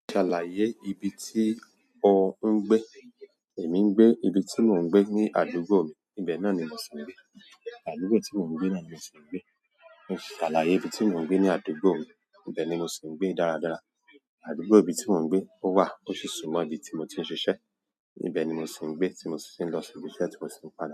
Ṣalaye ibi ti o un gbe. Èmi ń gbé, ibi tí mò ń gbé ní àdúgbò mi, ibẹ̀ náà ni mo si ń gbé. Àdúgbò tí mò ń gbé náà ni mo ti ń gbé. Ṣàlàyé ibi tí mò ń gbé ní àdúgbò mi. Ibẹ̀ ni mo ti ń gbé dáradára. Àdúgbò ibi tí mò ń gbé ó wà, ó si súnmọ́ ibi tí mo ti ń ṣiṣẹ́. Ibẹ̀ ni mo si ń gbé tí mo si ń lọ sìbi iṣẹ́ tí mo si ń padà.